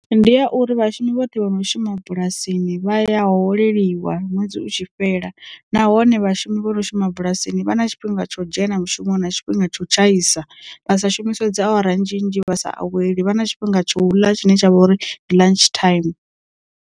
Ndi ya uri vhashumi vhoṱhe vhono shuma bulasini vha ya holeliwa ṅwedzi utshi fhela nahone vhashumi vho no shuma bulasini vha na tshifhinga tsho dzhena mushumo na tshifhinga tsho tshaisa vha sa shumiswe dzawara nnzhi nnzhi vha sa aweli vha na tshifhinga tsho ḽa tshine tsha vha uri ndi lunch time.